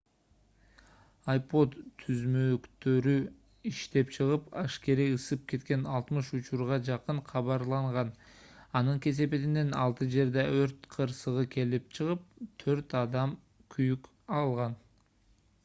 ipod түзмөктөрү иштен чыгып ашкере ысып кеткен 60 учурга жакын кабарланган анын кесепетинен алты жерде өрт кырсыгы келип чыгып төрт адам күйүк алган